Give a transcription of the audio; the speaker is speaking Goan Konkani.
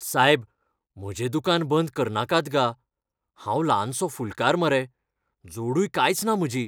सायब, म्हजें दुकान बंद करनाकात गा. हांव ल्हानसो फुलकार मरे, जोडूय कांयच ना म्हजी.